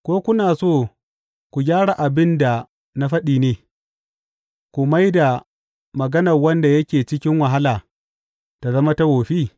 Ko kuna so ku gyara abin da na faɗi ne, ku mai da magana wanda yake cikin wahala ta zama ta wofi?